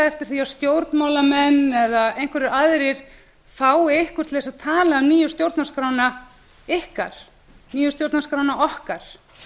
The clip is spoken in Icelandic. eftir því að stjórnmálamenn eða einhverjar aðrir fái ykkur til þess að tala um nýju stjórnarskrána ykkar nýju stjórnarskrána okkar